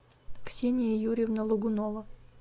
ксения юрьевна логунова